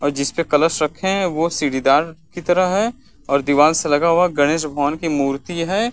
और जिस पे कलश रखे हैं वो सीढ़ीदार की तरह है और दिवाल से लगा हुआ गणेश भगवान की मूर्ति है।